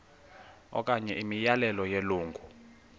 okanye imiyalelo yelungu